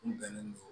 Nin bɛnnen